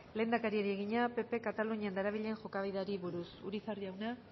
lehendakariari egina ppk katalunian darabilen jokabideari buruz urizar jauna